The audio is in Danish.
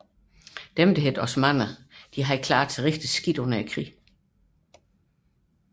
Osmannerne havde klaret sig dårligt under krigen